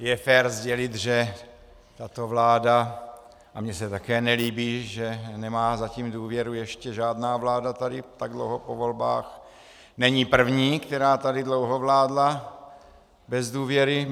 Je fér sdělit, že tato vláda, a mně se také nelíbí, že nemá zatím důvěru ještě žádná vláda tady tak dlouho po volbách, není první, která tady dlouho vládla bez důvěry.